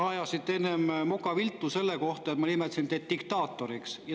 Te ajasite enne moka viltu selle peale, et ma nimetasin teid diktaatoriks.